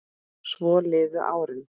Svo liðu árin.